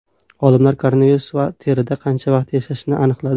Olimlar koronavirus terida qancha vaqt yashashini aniqladi.